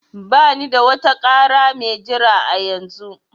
Bani da wata ƙara mai jira a yanzu